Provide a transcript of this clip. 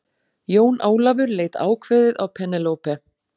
Jón Ólafur leit ákveðið á Penélope.